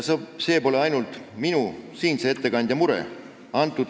See pole ainult minu, siinse ettekandja mure.